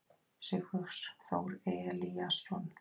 Sigfús Þór Elíasson.